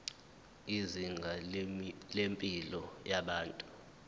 izinga lempilo yabantu